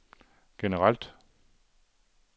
generelt